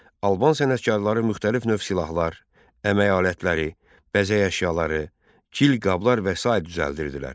Alban sənətkarları müxtəlif növ silahlar, əmək alətləri, bəzək əşyaları, gil qablar və sair düzəldirdilər.